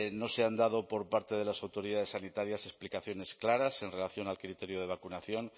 no se han dado por parte de las autoridades sanitarias explicaciones claras en relación al criterio de vacunación